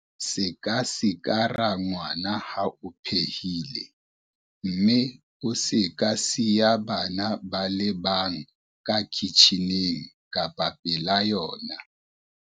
Se ka sikara ngwana ha o phehile mme o se ka siya bana ba le bang ka kitjhining kapa pela yona.